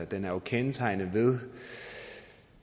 den er jo kendetegnet ved